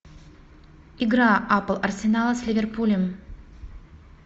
игра апл арсенала с ливерпулем